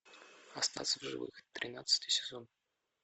остаться в живых тринадцатый сезон